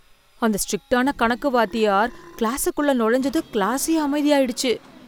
அந்த ஸ்ட்ரிக்டான கணக்கு வாத்தியார் கிளாசுக்குள்ள நுழைஞ்சதும் கிளாசே அமைதியாயிடுச்சு.